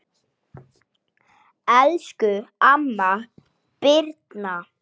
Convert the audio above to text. Elsku amma Birna.